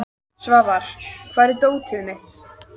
Svafar, hvar er dótið mitt?